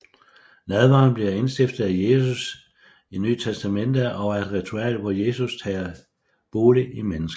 Nadveren bliver indstiftet af Jesus i NT og er et ritual hvor Jesus tager bolig i menneskene